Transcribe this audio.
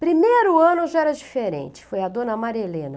Primeiro ano já era diferente, foi a dona Maria Helena.